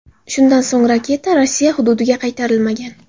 Shundan so‘ng raketa Rossiya hududiga qaytarilmagan.